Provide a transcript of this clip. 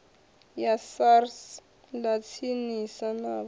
ya sars ḽa tsinisa navho